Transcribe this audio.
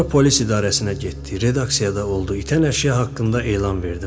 Sonra polis idarəsinə getdi, redaksiyada oldu, itən əşya haqqında elan verdi.